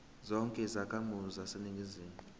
zonke izakhamizi zaseningizimu